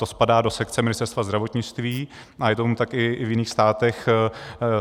To spadá do sekce Ministerstva zdravotnictví a je tomu tak i v jiných státech.